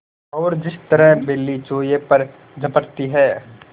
और जिस तरह बिल्ली चूहे पर झपटती है